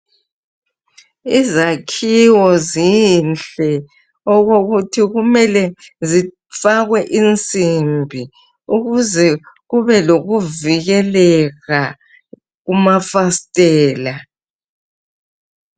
Izakhiwo zinhle okokuthi kumele zifakwe insimbi ukuze kube lokuvikeleka kumafasitela.